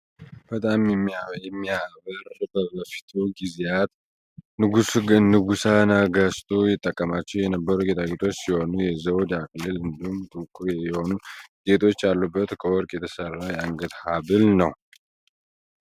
በጣም የሚያበር በበፊቱ ጊዜያት ንጉሠ ነገቱ ይጠቀማቸው የነበሩ ጌጣጌጦች ሲሆኑ የዘውድ አክሊል እንዲሁም ጥቋቁር የሆኑ ጌጦች ያሉበት ከወርቅ የተሰራ የአንገት ሀብል ነው ።